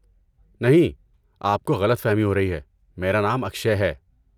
نہیں، آپ کو غلط فہمی ہو رہی ہے، میرا نام اکشئے ہے۔